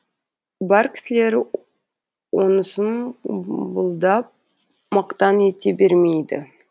бар кісілер онысын бұлдап мақтан ете бермейді